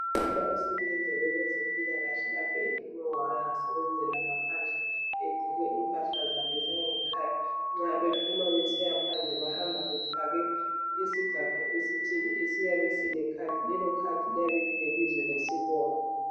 Umama osebenza kwabezempilakahle lapha ephume wayasebenzelanga ngaphandle egqoke impahla zakhe zangekhaya. Nxa bephuma besiya phandle bahamba befake isigaxo esithile esiyabe silekhadi, lelo khadi liyabe lilebizo lesibongo.